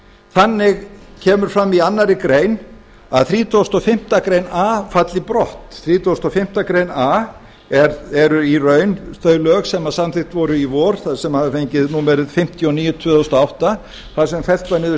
þannig kemur fram í annarri grein að þrítugasta og fimmtu grein a falli brott þrítugasta og fimmtu grein a eru í raun auk lög sem samþykkt voru í vor sem hafa fengið númerið fimmtíu og níu tvö þúsund og átta þar sem fella niður